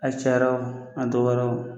A cayara o a dɔgɔyara o